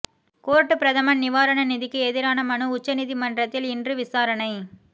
court பிரதமர் நிவாரண நிதிக்கு எதிரான மனு உச்ச நீதிமன்றத்தில் இன்று விசாரணை